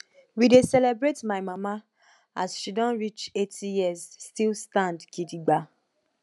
we dey celebrate my mama as she don reach 80 years still stand gidigba